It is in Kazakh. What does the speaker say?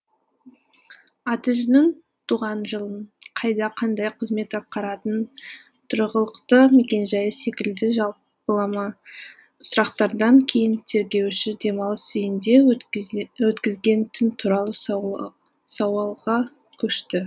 аты жөнін туған жылын қайда қандай қызмет атқаратынын тұрғылықты мекен жайы секілді жалпылама сұрақтардан кейін тергеуші демалыс үйінде өткізген түн туралы сауалға көшті